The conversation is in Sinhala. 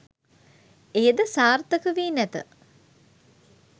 එය ද සාර්ථක වී නැත.